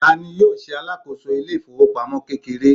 ta ni yíò ṣe alákòso ilé ifowopamọ kekere